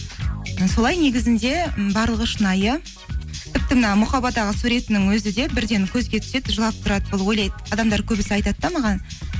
і солай негізінде м барлығы шынайы тіпті мына мұқабадағы суретінің өзі де бірден көзге түседі жылап тұрады бұл ойлайды адамдар көбісі айтады да маған